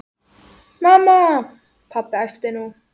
Mamma, pabbi æpti hún.